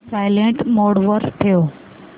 silent mode वर ठेव